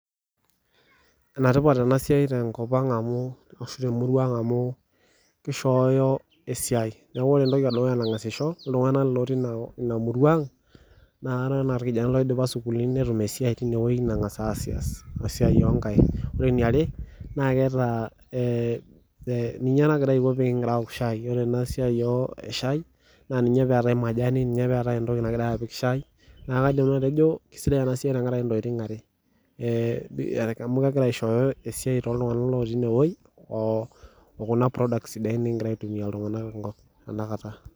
Enetipat ena siaai tenkop ang amu kishoyo esiaai, neeku kore entoki edukuya nagaz aisho iltungana lotii ina murua ang indol enaa kore irkijanani oidipa sukuul netum ina siaai nagaz aasias esiaiii oo nkaik, ore eniare naa ketaa ninye nagira aiko metaa ekigiraa aaok shaii ore ena siaai e shaii na ninye pekigira atum shaaai, neeku kaidim nanu atejo kisidai ena siaai tenkaraki ntokitin are, ee kegira aishoyo esiaai tooltungana otii ine wueeii okuna product nikigira aitumia tena kata .